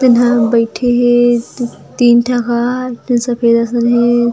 तेन ह बइठे हे तीन ठ ह तेन सफेद असन हे।